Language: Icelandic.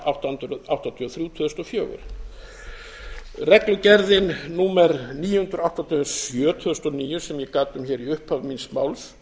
átta hundruð áttatíu og þrjú tvö þúsund og fjögur reglugerðin númer níu hundruð áttatíu og sjö tvö þúsund og níu sem ég gat um hér í upphafi míns máls